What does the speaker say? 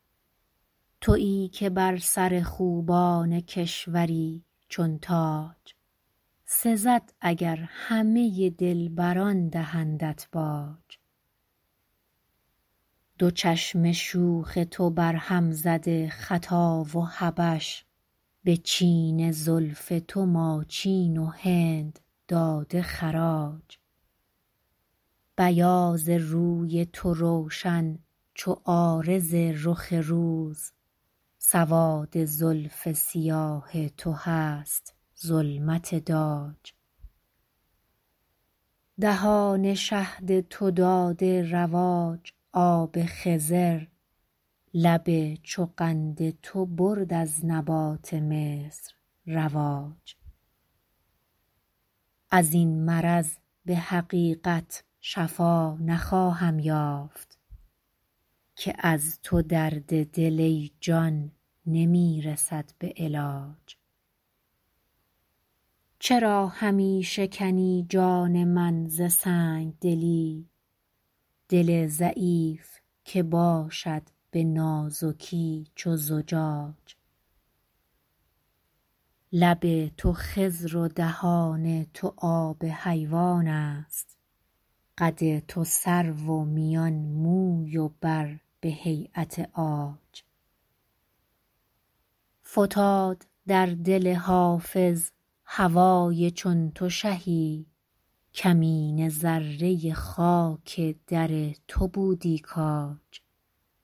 تویی که بر سر خوبان کشوری چون تاج سزد اگر همه دلبران دهندت باج دو چشم شوخ تو برهم زده خطا و حبش به چین زلف تو ماچین و هند داده خراج بیاض روی تو روشن چو عارض رخ روز سواد زلف سیاه تو هست ظلمت داج دهان شهد تو داده رواج آب خضر لب چو قند تو برد از نبات مصر رواج از این مرض به حقیقت شفا نخواهم یافت که از تو درد دل ای جان نمی رسد به علاج چرا همی شکنی جان من ز سنگ دلی دل ضعیف که باشد به نازکی چو زجاج لب تو خضر و دهان تو آب حیوان است قد تو سرو و میان موی و بر به هییت عاج فتاد در دل حافظ هوای چون تو شهی کمینه ذره خاک در تو بودی کاج